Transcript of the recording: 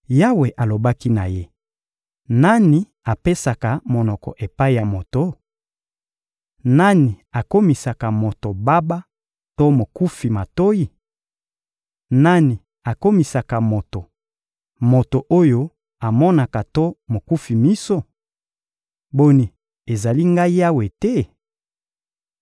Yawe alobaki na ye: — Nani apesaka monoko epai ya moto? Nani akomisaka moto baba to mokufi matoyi? Nani akomisaka moto, moto oyo amonaka to mokufi miso? Boni, ezali Ngai Yawe te?